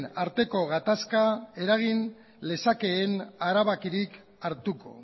arteko gatazka eragin lezakeen erabakirik hartuko